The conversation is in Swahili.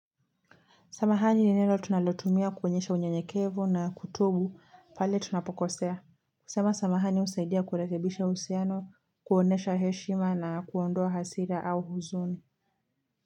Samahani ni neno tunalatumia kuoyesha unyenyekevu na kutubu pale tunapokosea. Kusema samahani husaidia kulekebisha uhusiano, kuonesha heshima na kuondoa hasira au huzuni.